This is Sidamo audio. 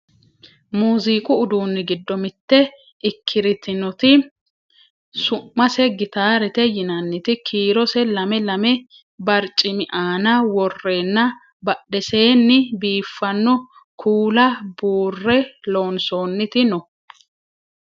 muziiqu udunni giddo mitte ikkirtinoti su'mase gitaarete yinanniti kiirose lame lamu barcimi aana worreenna badheseenni biiffanno kuula buurre loonsoonniti no